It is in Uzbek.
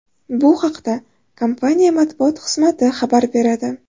Bu haqda kompaniya matbuot xizmati xabar beradi.